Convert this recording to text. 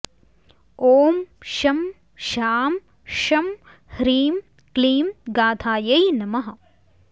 ॐ शं शां षं ह्रीं क्लीं गाथायै नमः